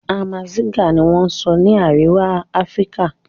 Amazigah ni wọ́n sọ ni Àríwá Áfíríkà